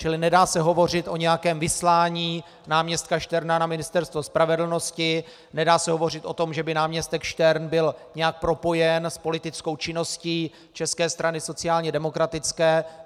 Čili nedá se hovořit o nějakém vyslání náměstka Šterna na Ministerstvo spravedlnosti, nedá se hovořit o tom, že by náměstek Štern byl nějak propojen s politickou činností České strany sociálně demokratické.